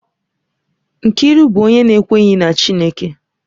Nkiru bụ onye na-ekweghị na Chineke